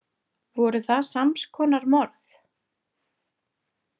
Voru það sams konar morð?